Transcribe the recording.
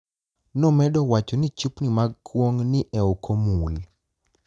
nomedo wacho nii chupnii mag kuonig' ni eok omuli